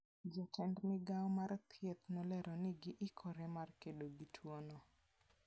Jatend migao mar thieth nolero ni giikore mar kedo gi tuono.